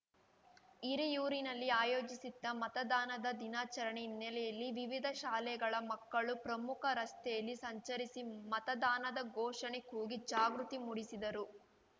ಹಿರಿಯೂರಿನಲ್ಲಿ ಆಯೋಜಿಸಿದ್ದ ಮತದಾನದ ದಿನಾಚರಣೆ ಹಿನ್ನೆಲೆಯಲ್ಲಿ ವಿವಿಧ ಶಾಲೆಗಳ ಮಕ್ಕಳು ಪ್ರಮುಖ ರಸ್ತೆಗಳಲ್ಲಿ ಸಂಚರಿಸಿ ಮತದಾನದ ಘೋಷಣೆ ಕೂಗಿ ಜಾಗೃತಿ ಮೂಡಿಸಿದರು